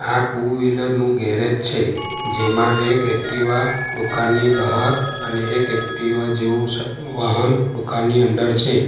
આ two wheeler નું garage છે જેમાં એક એકટીવા દુકાનની બહાર અને એક એકટીવા જેવું સ વાહન દુકાનની અંદર છે.